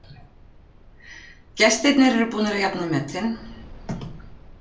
Gestirnir eru búnir að jafna metin